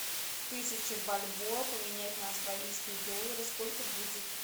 тысяча бальбоа поменять на австралийские доллары сколько будет